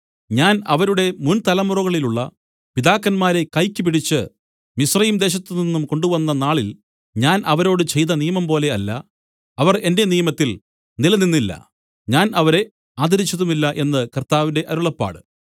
ഞാൻ അവരുടെ മുന്‍ തലമുറകളിലുള്ള പിതാക്കന്മാരെ കൈയ്ക്ക് പിടിച്ച് മിസ്രയീംദേശത്തുനിന്നു കൊണ്ടുവന്ന നാളിൽ ഞാൻ അവരോട് ചെയ്ത നിയമംപോലെ അല്ല അവർ എന്റെ നിയമത്തിൽ നിലനിന്നില്ല ഞാൻ അവരെ ആദരിച്ചതുമില്ല എന്ന് കർത്താവിന്റെ അരുളപ്പാട്